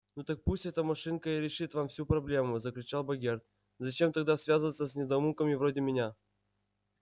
ну так пусть эта машинка и решит вам всю проблему закричал богерт зачем тогда связываться с недоумками вроде меня